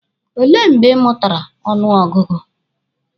O lee mgbe ị mụtara ọnụ ọgụgụ?